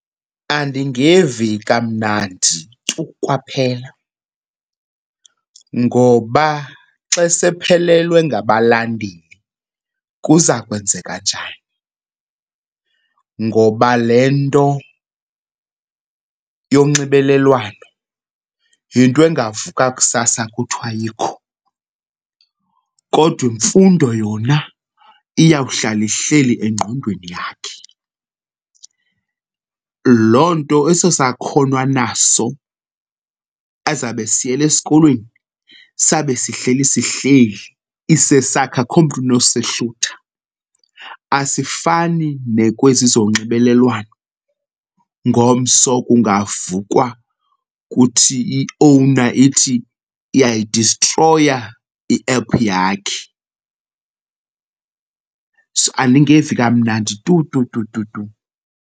Andingevi kamnandi tu kwaphela ngoba xa sephelelwe ngabalandeli kuza kwenzeka njani. Ngoba le nto yonxibelelwano yinto engavuka kusasa kuthiwa ayikho kodwa imfundo yona iyawuhlala ihleli engqondweni yakhe. Loo nto eso sakhono anaso azawube esiyele esikolweni sabe sihleli sihleli isesakhe, akukho mntu unosehlutha. Asifani nakwezi zonxibelelwano ngomso kungavukwa kuthi i-owner ithi iyayidistroya iephu yakhe. So, andingevi kamnandi tu tu tu tu.